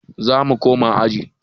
Zamu koma aji